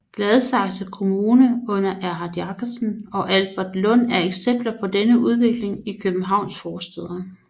Gladsaxe Kommune under Erhard Jakobsen og Albertslund er eksempler på denne udvikling i Københavns forstæder